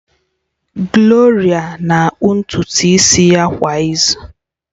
Gloria na-akpụ ntutu isi ya kwa izu